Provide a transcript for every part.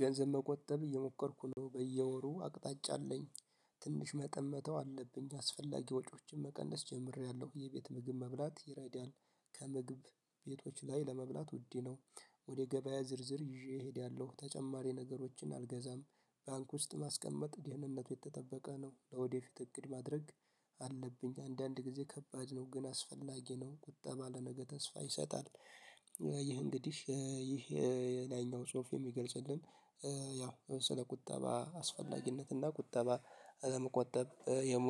ገንዘብ መቆጠብ እየሞከርኩ ነው በየወሩ አቅጣጫ አለኝ። ትንሽ መጠመተው አለብኝ አስፈላጊ ወጪዎችን መቀነስ ጀምሬያለሁ የቤት ምግብ መብላት ይረዳል ከምግብ ቤቶች ላይ ለመብላት ውድ ነው። ወደ ገበያ ዝርዝር ይዤ እሄዳለሁ ተጨማሪ ነገሮችን አልገዛም። ባንክ ውስጥ ማስቀመጥ ደህንነቱ የተጠበቀ ነው ለወደፊት እቅድ ማድረግ። አለብኝ አንዳንድ ጊዜ ከባድ ነው ግን አስፈላጊ ነው ቁጠባ ለነገ ተስፋ ይሰጣል። ይህ እንግዲህ ይህ የላይኛው ጽሁፍ የሚገልጽልን ያው ለምሳሌ ቁጠባ አስፈላጊነት እና ቁጠባ ለመቆጠብ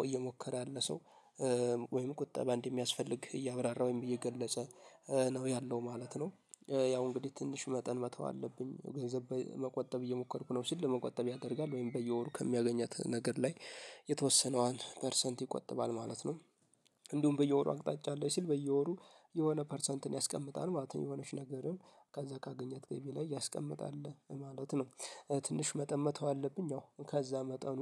እየሞከረ የለ ሰው ወይም ቁጠባ እንዲህ የሚያስፈልግ እያብራራ ወይም እየገለጸ ነው ያለው ማለት ነው። ያው እንግዲህ ትንሽ መጠን መተው አለብኝ ገንዘብ መቆጠብ እየሞከርኩ ነው ሲል ለመቆጠብ ያደርጋል ወይም በየወሩ ከሚያገኘት ነገር ላይ የተወሰነዋን ፐርሰንት ይቆጥባል ማለት ነው። እንዲሁም በየወሩ አቅጣጫ አለኝ ሲል በየወሩ የሆነ ፐርሰንትን ያስቀምጣል ማለት የሆነች ነገርን ከዛ ካገኘት ገቢ ላይ ያስቀምጣል ማለት ነው። ትንሽ መጠን መተው አለብኝ ያው ከዛ መጠኑ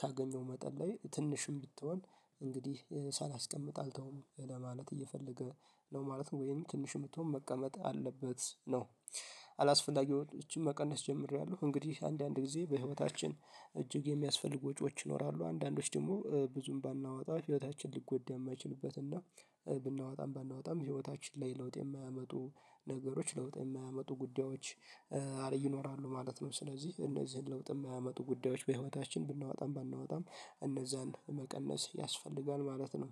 ካገኘው መጠን ላይ ትንሽ የምትሆን እንግዲህ ሳላስቀምጥ አልተውም ለማለት እየፈለገ ነው ማለት ነው ወይም ትንሽ የምትሆን መቀመጥ አለበት ነው። አላስፈላጊው እቺን መቀነስ ጀምሬያለሁ እንግዲህ አንዳንድ ጊዜ በህይወታችን እጅግ የሚያስፈልጉ ወጪዎች ይኖራሉ አንዳንዶች ደግሞ ብዙም ባናወጣ ህይወታችን ልጎዳ የማይችሉበት እና ብናወጣም ባናወጣም ህይወታችን ላይ ለውጥ የማያመጡ ነገሮች ለውጥ የማያመጡ ጉዳዮች አለ ይኖራሉ ማለት ነው። ስለዚህ እነዚህን ለውጥ የማያመጡ ጉዳዮች በህይወታችን ብናወጣም ባናወጣም እነዛን መቀነስ ያስፈልጋል ማለት ነው።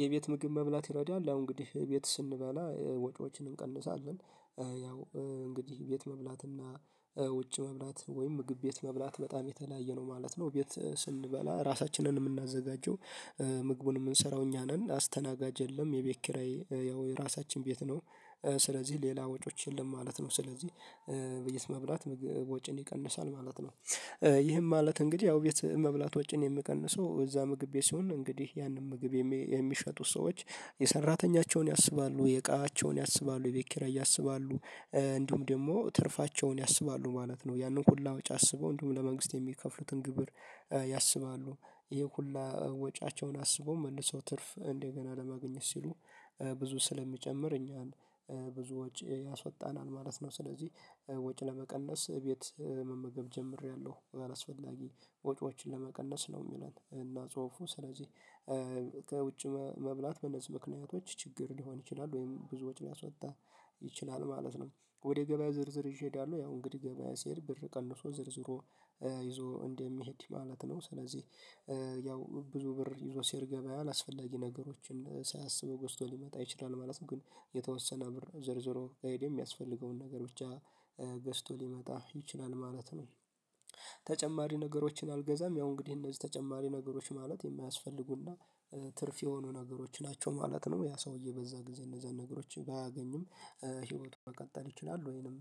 የቤት ምግብ መብላት ይረዳል አሁን እንግዲህ ቤት ስንበላ ወጪዎችን እንቀንሳለን። ያው እንግዲህ ቤት መብላትና ውጭ መብላት ወይም ምግብ ቤት መብላት በጣም የተለያየ ነው ማለት ነው ቤት ስንበላ ራሳችንን ነን የምናዘጋጀው ምግቡን የምንሰራው እኛ ነን አስተናጋጅ የለም የቤት ኪራይ ያው የራሳችን ቤት ነው ስለዚህ ሌላ ወጪዎች የለም ማለት ነው ስለዚህ መብላት ወጪን ይቀንሳል ማለት ነው። ይህም ማለት እንግዲህ ያው ቤት መብላት ወጪን የምቀንሰው እዛ ምግብ ቤት ሲሆን እንግዲህ ያንን ምግብ የሚሸጡት ሰዎች የሰራተኞቻቸውን ያስባሉ የእቃቸውን ያስባሉ የቤት ኪራይ ያስባሉ እንዲሁም ደግሞ ትርፋቸውን ያስባሉ ማለት ነው። ያንን ሁሉ ወጭ አስበው እንዲሁም ለመንግስት የሚከፍሉትን ግብር ያስባሉ ይሄ ሁሉ ወጪያቸውን አስቦ መልሰው ትርፍ እንደገና ለማግኘት ሲሉ ብዙ ስለሚጨምር እኛን ብዙ ወጪ ያሳጣናል ማለት ነው። ስለዚህ ወጪ ለመቀነስ ቤት መመገብ ጀምሬያለሁ አላስፈላጊ ወጪዎችን ለመቀነስ ነው የሚለን እና ጽሁፉ ስለዚህ ከውጭ መብላት በነዚህ ምክንያቶች ችግር ሊሆን ይችላል ወይም ብዙዎች ሊያስወጣ ይችላል ማለት ነው። ወደ ገበያ ዝርዝር ይዠ እሄዳለው ያው እንግዲህ ገበያ ስሄድ ብር ቀንሶ ዘርዝሮ ይዞ እንደሚሄድ ማለት ነው ስለዚህ ያው ብዙ ብር ይዞ ሲሄድ ገበያውን አስፈላጊ ነገሮችን ሳያሰበ ገዝቶ ሊመጣ ይችላል ማለት ነው ግን የተወሰነ ብር ዘርዝሮ ከሄደ የሚያስፈልገውን ነገር ብቻ ገዝቶ ሊመጣ ይችላል ማለት ነው። ተጨማሪ ነገሮችን አልገዛም ያው እንግዲህ እነዚህ ተጨማሪ ነገሮች ማለት የማያስፈልጉና ትርፍ የሆኑ ነገሮች ናቸው ማለት ነው። ያ ሰውዬ በዛ ጊዜ እነዛን ነገሮች ባያገኝም ህይወቱን መቀጠል ይችላል ወይንም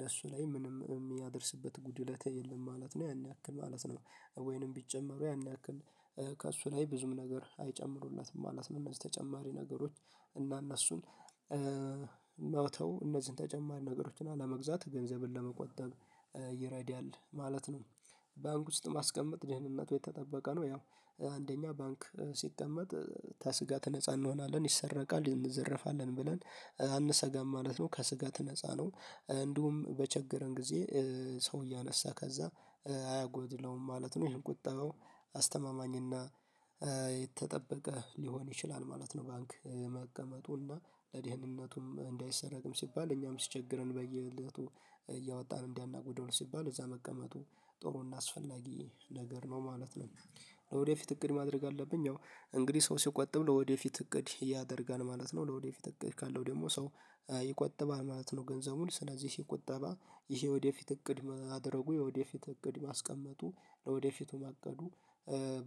ለእሱ ላይ ምንም የሚያደርስበት ጉድለት የለም ማለት ነው። ያን ያክል ማለት ነው ወይንም ቢጨመሩ ያን ያክል ከእሱ ላይ ብዙም ነገር አይጨምሩለትም ማለት ነው እነዚህ ተጨማሪ ነገሮች እና እነሱን መተው እነዚህን ተጨማሪ ነገሮችን አለመግዛት ገንዘብን ለመቆጠብ ይረዳል ማለት ነው። ባንክ ውስጥ ማስቀመጥ ደህንነቱ የተጠበቀ ነው ያው አንደኛ ባንክ ሲቀመጥ ከስጋት ነፃ እንሆናለን ይሰረቃል እንዘረፋለን ብለን አንሰጋም ማለት ነው ከስጋት ነፃ ነው። እንዲሁም በቸገረን ጊዜ ሰው እያነሳ ከዛ አያጎድለውም ማለት ነው ይሄን ቆጥበው አስተማማኝና የጠበቀ ሊሆን ይችላል ማለት ነው ባንክ መቀመጡና ለደህንነቱም እንዳይሰረቅም ሲባል እኛም ሲቸግረን በየእለቱ እያወጣን እንዳናጎድለው ሲባል እዛ መቀመጡ ጥሩና አስፈላጊ ነገር ነው ማለት ነው። ወደፊት እቅድ ማድረግ አለብኝ እንግዲህ ሰው ሲቆጥብ ወደፊት እቅድ ያደርጋል ማለት ነው ወደፊት እቅድ ካለው ደግሞ ሰው ይቆጠባል ማለት ነው ገንዘቡን ስለዚህ ሲቆጠባ ይሄ ወደፊት እቅድ ማድረጉ የወደፊት እቅድ ማስቀመጡ ለወደፊቱ ማቀዱ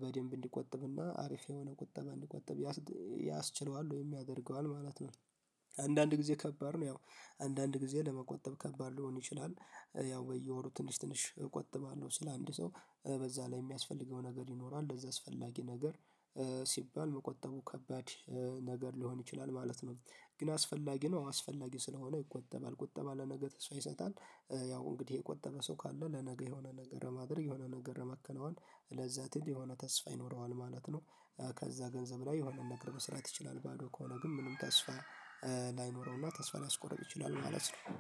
በደንብ እንዲቆጥብና አሪፍ የሆነ ቁጠባ እንዲቆጥብ ያስችለዋል ወይም ያደርገዋል ማለት ነው። አንዳንድ ጊዜ ከባድ ነው ያው አንዳንድ ጊዜ ለመቆጠብ ከባድ ሊሆን ይችላል ያው በየወሩ ትንሽ ትንሽ እቆጥባለሁ ሲል አንድ ሰው በዛ ላይ የሚያስፈልገው ነገር ይኖራል ለዛ አስፈላጊ ነገር ሲባል መቆጠቡ ከባድ ነገር ሊሆን ይችላል ማለት ነው። ግን አስፈላጊ ነው አስፈላጊ ይቆጠባል ቁጠባ ለነገ ተስፋ ይሰጣል። ያው እንግዲህ የቆጠበ ሰው ካለ ለነገ የሆነ ነገር ማድረግ የሆነ ነገር ማከናወን ለዛ ትልቅ የሆነ ተስፋ ይኖረዋል ማለት ነው። ከዛ ገንዘብ ላይ የሆነ ነገር መስራት ይችላል ባዶ ከሆነ ግን ምንም ተስፋ ላይኖረውና ተስፋ ሊያስቆርጥ ይችላል ማለት ነው።